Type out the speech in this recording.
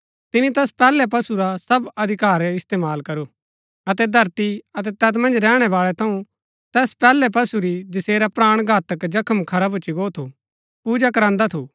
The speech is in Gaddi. तिनी तैस पैहलै पशु रा सब अधिकार इस्तेमाल करू अतै धरती अतै तैत मन्ज रैहणै बाळै थऊँ तैस पैहलै पशु री जैसेरा प्राण घातक जख्म खरा भूच्ची गो थू पूजा करांदा थू